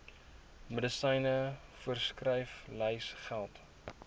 medisyne voorskriflys geld